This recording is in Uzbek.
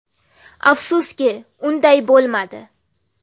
Afsuski unday bo‘lmadi.